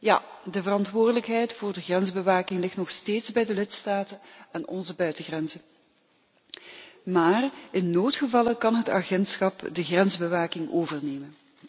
Ja, de verantwoordelijkheid voor de grensbewaking ligt nog steeds bij de lidstaten en onze buitengrenzen, maar in noodgevallen kan het agentschap de grensbewaking overnemen.